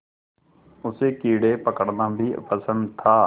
उसे कीड़े पकड़ना भी पसंद था